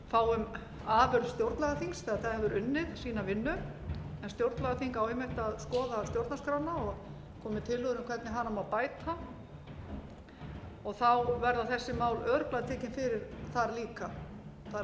við fáum stjórnlagaþing þegar það hefur unnið sína vinnu en stjórnlagaþing á einmitt að skoða stjórnarskrána og koma með tillögur um hvernig hana má bæta þá verða þessi mál örugglega tekin fyrir þar líka það